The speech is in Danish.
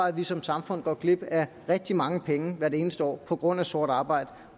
af at vi som samfund går glip af rigtig mange penge hvert eneste år på grund af sort arbejde